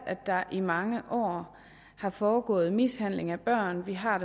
at der i mange år har foregået mishandling af børn vi har